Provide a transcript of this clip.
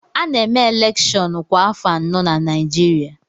A na-eme elèkshón kwa afọ anọ na Naịjirịa